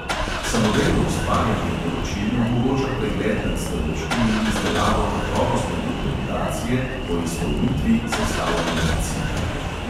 Samodejno ustvarjanje poročil omogoča pregled nad stroški in izdelavo kakovostne dokumentacije o izpolnitvi zastavljenih ciljev.